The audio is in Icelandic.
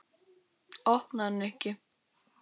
Opnaðu, Nikki.